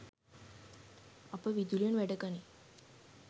අප විදුලියෙන් වැඩගනී